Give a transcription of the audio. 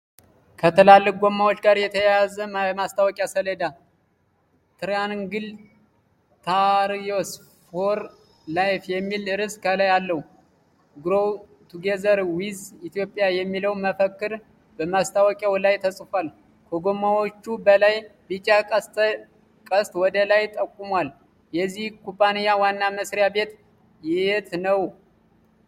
ከትላልቅ ጎማዎች ጋር የተያያዘ የማስታወቂያ ሰሌዳ። ትራያንግል ታየርስ ፎር ላይፍ የሚል ርዕስ ከላይ አለው። ግሮው ቱጌዘር ዊዝ ኢትዮጵያ የሚለው መፈክር በማስታወቂያው ላይ ተጽፏል። ከጎማዎቹ በላይ ቢጫ ቀስት ወደ ላይ ጠቁሟል። የዚህ ኩባንያ ዋና መሥሪያ ቤት የት ነው?